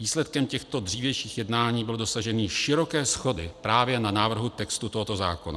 Výsledkem těchto dřívějších jednání bylo dosažení široké shody právě na návrhu textu tohoto zákona.